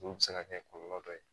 Olu bɛ se ka kɛ kɔlɔlɔ dɔ ye